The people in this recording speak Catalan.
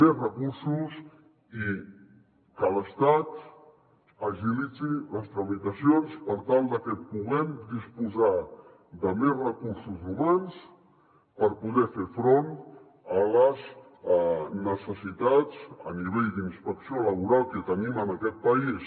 més recursos i que l’estat agilitzi les tramitacions per tal de que puguem disposar de més recursos humans per poder fer front a les necessitats a nivell d’inspecció laboral que tenim en aquest país